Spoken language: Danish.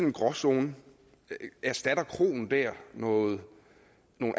en gråzone erstatter kroen der nogle